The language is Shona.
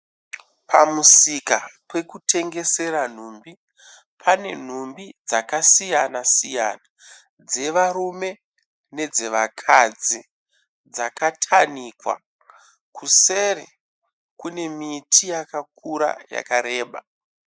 Pamusika pekutengesera nhumbi. Pane nhumbi dzakasiyana-siyana dzevarume nedzevakadzi dzakatanikwa. Kuseri kune miti yakakura yakareba.